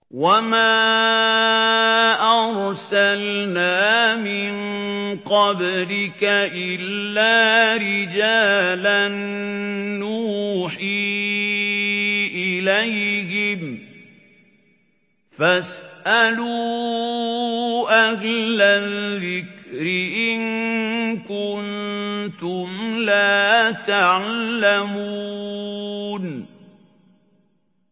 وَمَا أَرْسَلْنَا مِن قَبْلِكَ إِلَّا رِجَالًا نُّوحِي إِلَيْهِمْ ۚ فَاسْأَلُوا أَهْلَ الذِّكْرِ إِن كُنتُمْ لَا تَعْلَمُونَ